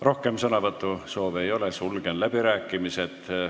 Rohkem sõnavõtusoove ei ole, sulgen läbirääkimised.